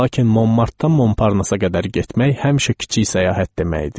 Lakin Monmartdan Monparnasa qədər getmək həmişə kiçik səyahət demək idi.